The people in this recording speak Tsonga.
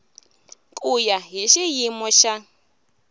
ku ya hi xiyimo xa